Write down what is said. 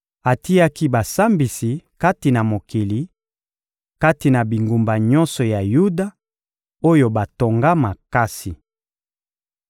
Atiaki basambisi kati na mokili, kati na bingumba nyonso ya Yuda, oyo batonga makasi.